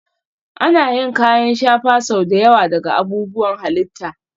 Ana yin kayan shafa sau da yawa daga abubuwan halitta